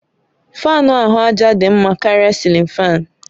Fáan ahụ àjà dị mma karịa cilin fáan